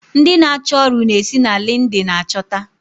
Ndi n'acho ọrụ n'esi na lindin achota